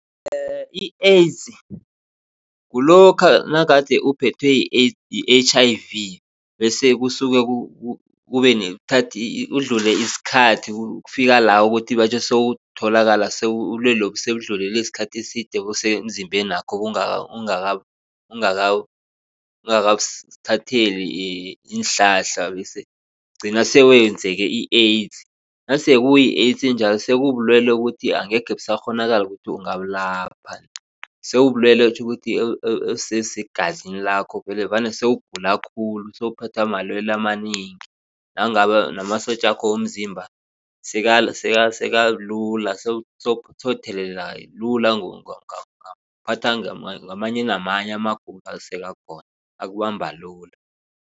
i-AIDS kulokha nagade uphethwe yi-H_I_V bese kusuke kudlule isikhathi kufika la ukuthi batjho sewutholakala ubulwelobu sebudlulelwe sikhathi eside busemzimbenakho ungakabuthatheli iinhlanhla bese kugcina sebenzeke i-AIDS. Nasekuyi-AIDS njalo sekubulwele ukuthi angekhe busakghonakala bona ungabulapha. Sebulwele tjhukuthi obusegazini lakho vele vane sewugula khulu sewuphathwa malwele amanengi nangabe namasotja wakho womzimba sekalula sewutheleleka lula ungaphathwa ngamanye namanye amagulo akubamba lula.